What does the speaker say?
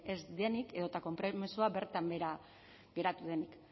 ez denik edota konpromezua bertan behera geratu denik